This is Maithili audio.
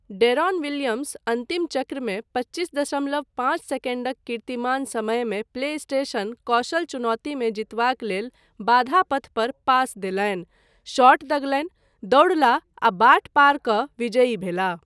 डेरोन विलियम्स अन्तिम चक्रमे पच्चीस दशमलव पाँच सेकण्डक कीर्तिमान समयमे प्लेस्टेशन कौशल चुनौतीमे जीतबाक लेल बाधा पथ पर पास देलनि, शॉट दगलनि, दौड़लाह आ बाट पार कऽ विजयी भेलाह।